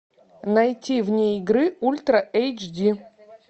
найти вне игры ультра эйч ди